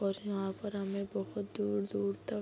और यहाँ पर हमें बहुत दूर-दूर तक --